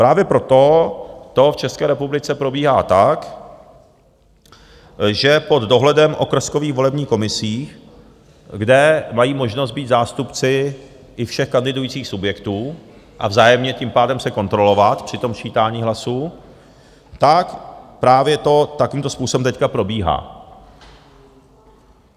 Právě proto to v České republice probíhá tak, že pod dohledem okrskových volebních komisí, kde mají možnost být zástupci i všech kandidujících subjektů a vzájemně tím pádem se kontrolovat při tom sčítání hlasů, tak právě to takovýmto způsobem teď probíhá.